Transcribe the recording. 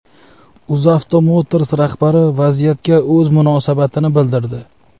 UzAuto Motors rahbari vaziyatga o‘z munosabatini bildirdi.